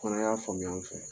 fana y'a faamuya u fɛ.